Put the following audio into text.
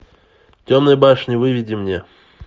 темная башня выведи мне